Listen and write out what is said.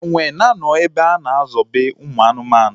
Enwe na-anọ ebe a na ezobe ụmụ anụmanụ